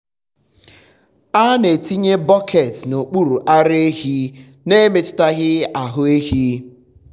a na-etinye bọket n’okpuru ara ehi um n’emetụghị ahụ ehi.